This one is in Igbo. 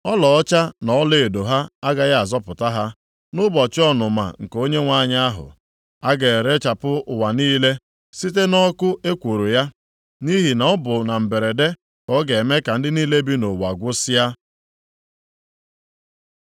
Ọlaọcha na ọlaedo ha agaghị azọpụta ha nʼụbọchị ọnụma nke Onyenwe anyị ahụ.” A ga-erechapụ ụwa niile site nʼọkụ ekworo ya, nʼihi na ọ bụ na mberede ka ọ ga-eme ka ndị niile bi nʼụwa gwụsịa.